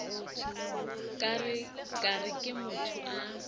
ka re ke motho a